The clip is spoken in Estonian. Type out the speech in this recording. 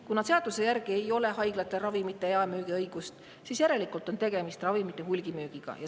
" Kuna seaduse järgi ei ole haiglatel ravimite jaemüügi õigust, siis järelikult on tegemist ravimite hulgimüügiga.